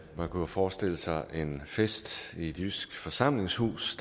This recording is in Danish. jo kunne forestille sig en fest i et jysk forsamlingshus